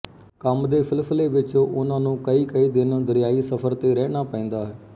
ਕੰਮ ਦੇ ਸਿਲਸਿਲੇ ਵਿੱਚ ਉਨ੍ਹਾ ਨੂੰ ਕਈਕਈ ਦਿਨ ਦਰਿਆਈ ਸਫ਼ਰ ਤੇ ਰਹਿਣ ਪੈਂਦਾ